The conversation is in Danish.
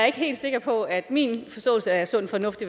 ikke helt sikker på at min forståelse af sund fornuft